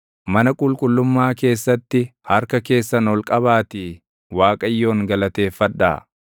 Mana qulqullummaa keessatti harka keessan ol qabaatii Waaqayyoon galateeffadhaa.